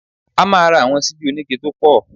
A máa ra àwọn síbí oníke tó pọ̀